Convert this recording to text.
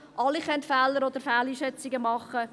Alle können Fehler oder Fehleinschätzungen machen.